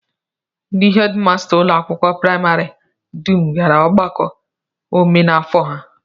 Ndị hedịmasta ụlọakwụkwọ praịmarị dum gara ọgbakọ omenafọ ha